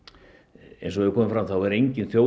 eins og hefur komið fram er engin þjóð